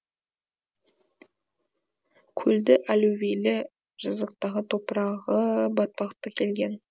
көлді аллювийлі жазықтағы топырағы батпақты келген